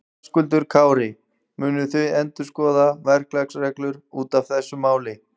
Höskuldur Kári: Munuð þið endurskoða verklagsreglur út af þessu máli?